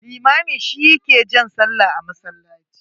Limami shi ya ke jan sallah a masallaci.